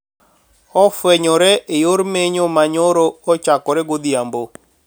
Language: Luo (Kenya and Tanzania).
Ofwenyore e yor menyo ma nyoro ochakore godhiambo